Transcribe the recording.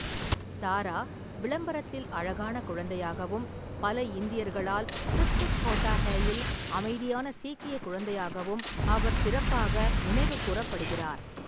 தாரா விளம்பரத்தில் அழகான குழந்தையாகவும், பல இந்தியர்களால் குச் குச் ஹோதா ஹையில் அமைதியான சீக்கிய குழந்தையாகவும் அவர் சிறப்பாக நினைவுகூரப்படுகிறார்.